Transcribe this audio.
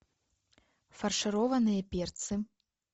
фаршированные перцы